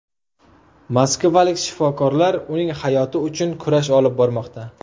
Moskvalik shifokorlar uning hayoti uchun kurash olib bormoqda.